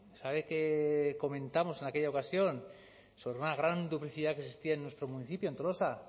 sabe qué comentamos en aquella ocasión sobre una gran duplicidad que existía en nuestro municipio en tolosa